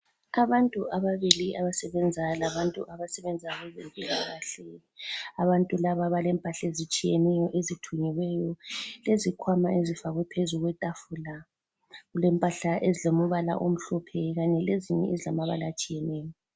Abantu ababili abasebenzayo labantu abasebenza kwabezempilakahle. Abantu laba balempahla ezitshiyeneyo ezithungiweyo lezikhwama ezifakwe phezu kwetafula. Kulempahla ezilombala omhlophe kanye lezinye ezilamabala atshiyeneyo.